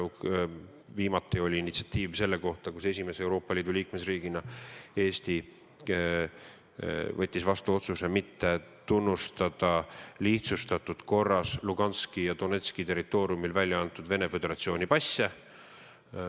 Viimati võttis Eesti esimese Euroopa Liidu liikmesriigina vastu otsuse mitte tunnustada lihtsustatud korras Luganski ja Donetski territooriumil välja antud Venemaa Föderatsiooni passe.